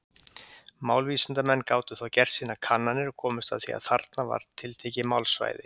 Málvísindamenn gátu þá gert sínar kannanir, og komust að því að þarna var tiltekið málsvæði.